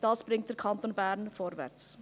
Dies bringt den Kanton Bern vorwärts.